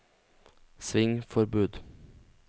svingforbud